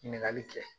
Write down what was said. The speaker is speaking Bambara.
Ɲininkali kɛ